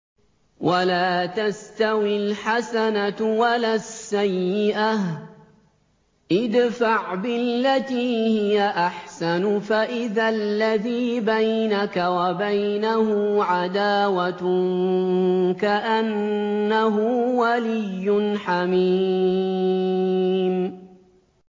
وَلَا تَسْتَوِي الْحَسَنَةُ وَلَا السَّيِّئَةُ ۚ ادْفَعْ بِالَّتِي هِيَ أَحْسَنُ فَإِذَا الَّذِي بَيْنَكَ وَبَيْنَهُ عَدَاوَةٌ كَأَنَّهُ وَلِيٌّ حَمِيمٌ